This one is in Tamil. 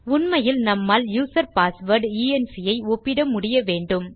உண்மையில் நம்மால் யூசர் பாஸ்வேர்ட் என்க் ஐ ஒப்பிட முடியவேண்டும்